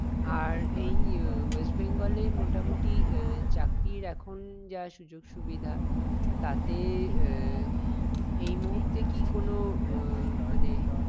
আর এই উহ West Bengal এ মোটামুটি আহ চাকরির এখন যা সূযোগ সুবিধা তাতে আহ এই মুহূর্তে কি কোনো আহ মানে